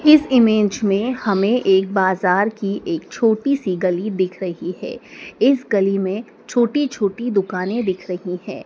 इस इमेज में हमें एक बाजार की एक छोटी सी गली दिख रही है इस गली में छोटी-छोटी दुकानें दिख रही हैं।